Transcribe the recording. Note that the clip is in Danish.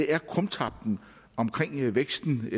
er krumtappen i væksten i